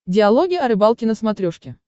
диалоги о рыбалке на смотрешке